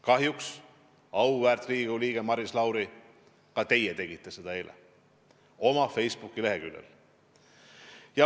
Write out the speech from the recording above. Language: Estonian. Kahjuks, auväärt Riigikogu liige Maris Lauri, ka teie tegite seda eile oma Facebooki leheküljel.